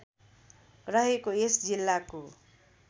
रहेको यस जिल्लाको